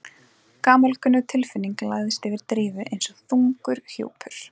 Gamalkunnug tilfinning lagðist yfir Drífu eins og þungur hjúpur.